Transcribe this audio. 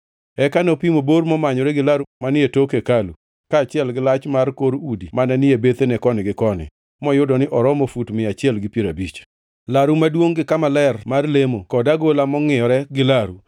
Eka nopimo bor momanyore gi laru manie tok hekalu, kaachiel gi lach mar kor udi mane ni e bethene koni gi koni; moyudo ni oromo fut mia achiel gi piero abich. Laru maduongʼ gi kama ler mar lemo kod agola mangʼiyore gi laru,